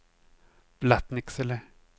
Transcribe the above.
Blattnicksele